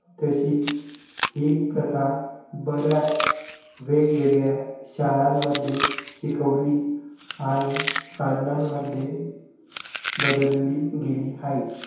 तशी हि प्रथा बऱ्याच वेगवेगळ्या शाळांमध्ये शिकवली आणि सानांमध्ये बदलली गेली हाये